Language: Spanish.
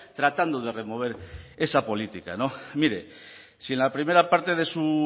tratando de remover esa política mire si en la primera parte de su